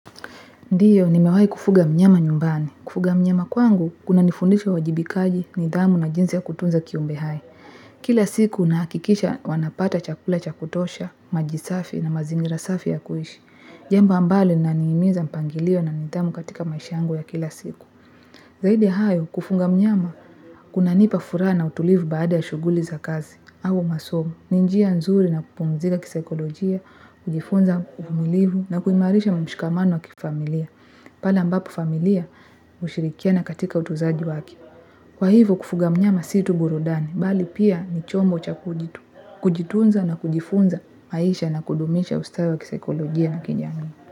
Ndiyo, nimewai kufuga mnyama nyumbani. Kufuga mnyama kwangu, kunanifundisha uwajibikaji, nidhamu na jinsi ya kutunza kiumbe hai. Kila siku, nahakikisha wanapata chakula cha kutosha, maji safi na mazingira safi ya kuishi. Jambo ambalo, linanihimiza mpangilio na nidhamu katika maisha yangu ya kila siku. Zaidi hayo, kufunga mnyama, kunanipa furaha na utulivu baada ya shuguli za kazi, au masomo, ni njia nzuri na kupumzika kisaikolojia, kujifunza uvumilivu na kuimarisha mshikamano wa kifamilia. Pala ambapo familia hushirikiana katika utuzaji waki. Kwa hivo kufuga mnyama si tu burudani, bali pia ni chombo cha kujitu. Kujitunza na kujifunza maisha na kudumisha ustawi wa kisaikolojia na kijamii.